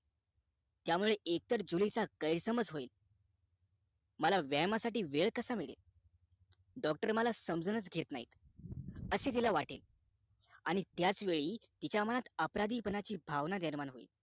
त्यामुळे एकतर जुली चा गैरसमज होईल मला व्यायामासाठी वेळ कसा मिळेल doctor मला समजूनच घेत नाही असे तिला वाटे आणि त्याच वेळी तिच्या मनात अपराधी पानाची भावना निर्माण होईल